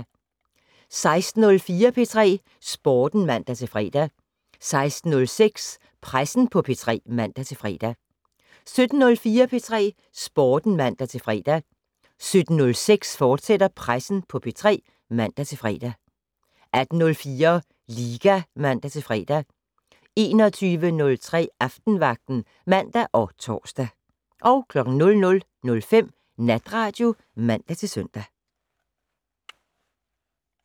16:04: P3 Sporten (man-fre) 16:06: Pressen på P3 (man-fre) 17:04: P3 Sporten (man-fre) 17:06: Pressen på P3, fortsat (man-fre) 18:04: Liga (man-fre) 21:03: Aftenvagten (man og tor) 00:05: Natradio (man-søn)